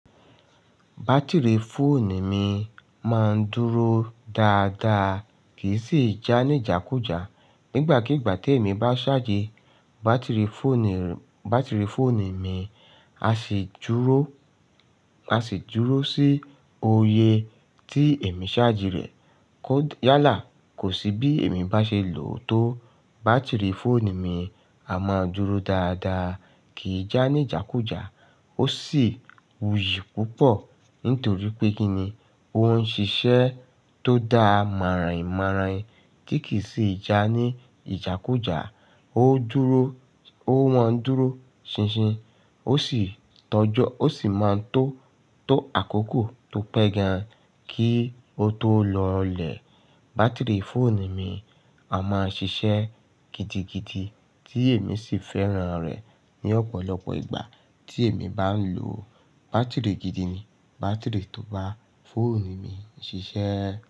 Batiri fóònù mi máa ń dúró dáadáa kì í sì já ní ìjákujá. Nígbàkígbà tí èmi bá charge i batiri fóònù, batiri fóònù mi, a sì dúró, a sì dúró sí oyè tí èmi charge irẹ̀. Kód yálà, kò sí bí èmi bá ṣe lò ó tó batiri fóònù mi, a máa dúró dáadáa kì í já ní ìjákujá. Ó sì wuyì púpọ̀ nítorí pé kíni, ó ń ṣiṣẹ́ tó dá mọ̀ràn-ìmọ̀ràn ti kì í sì já ní ìjákujá. Ó dúró, ó wọ́n dúró ṣinṣin ó sì tọ́jọ́, ó sì máa ń tó tó àkókò tó pẹ́ gan kí ó tó lọlẹ̀. Batiri fóònù mi a máa ṣiṣẹ́ gidigidi tí èmi sì fẹ́ràn rẹ̀ ní ọ̀pọ̀lọpọ̀ ìgbà tí èmi bá ń lò ó. Batiri gidi ni batiri tó bá fóònù mi ń ṣiṣẹ́.